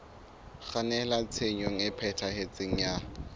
kgannela tshenyong e phethahetseng ya